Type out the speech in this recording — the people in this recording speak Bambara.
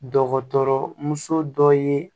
Dɔgɔtɔrɔ muso dɔ ye